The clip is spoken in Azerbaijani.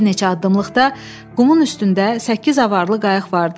Bir neçə addımlıqda qumun üstündə səkkiz avaralı qayıq vardı.